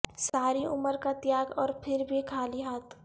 ساری عمر کا تیاگ اور پھر بھی خالی ہاتھ